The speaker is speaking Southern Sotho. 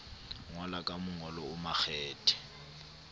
ngola ka mongolo o makgethe